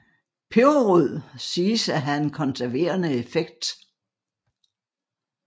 Peberrod siges at have en konserverende effekt